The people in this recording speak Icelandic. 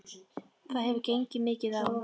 Það hefur gengið mikið á!